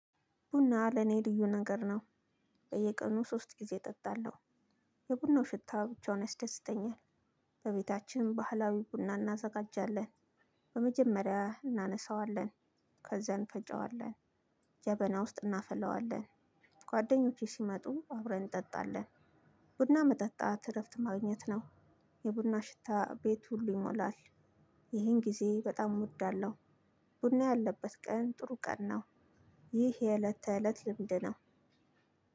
ቡና ለኔ ልዩ ነገር ነው። በየቀኑ ሥስት ግዜ እጠጣለሁ የቡና ሽታ ብቻውን ያስደስተኛል። በቤታችን ባህላዊ ቡና እናዘጋጃለን በመጀመሪያ እናነሰወልን፣ ከዝያን እንፈጨዋለ፣ ጀበና ውስጥ እናፈለዋለን። ጓደኞቼ ስመጡ አብረን እንጠጣለን። ቡና መጠጣት እረፍት ማግኘት ነው። የቡና ሽታ በት ሁሉ ይሞላል። ይህን ግዜ በጣም እወዳለሁ። ቡና ያለበት ቀን ጥሩ ቀን ነው። ይሄ የእለት ተእለት ልምድ ነው።